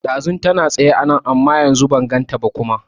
Ɗazun tana tsaye anan amma ban ganta ba kuma